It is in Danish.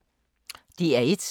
DR1